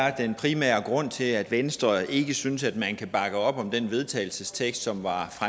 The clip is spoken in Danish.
er den primære grund til at venstre ikke synes at man kan bakke op om den vedtagelsestekst som